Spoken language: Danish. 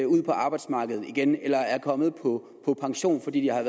ud på arbejdsmarkedet igen eller som er kommet på pension fordi de har